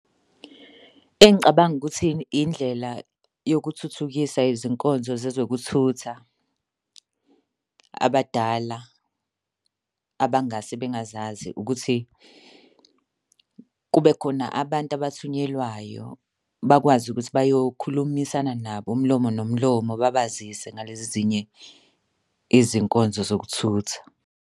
Engicabanga ukuthini, indlela yokuthuthukisa izinkonzo zezokuthutha abadala abangase bengazazi ukuthi kube khona abantu abathunyelwayo bakwazi ukuthi bayokhulumisana nabo umlomo nomlomo babazisa ngalezi ezinye izinkonzo zokuthutha.